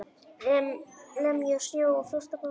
Lemja snjó og frost af bátnum.